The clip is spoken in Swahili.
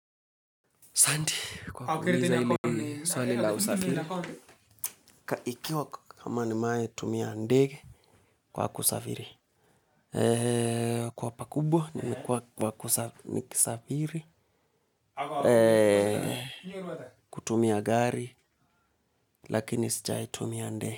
Asanti kwa kuniuliza hili swali la usafiri ikiwa kama nimewahi tumia ndege kwa kusafiri. Kwa pakubwa ni kwa kusafiri. Kutumia gari lakini sijai tumia ndege.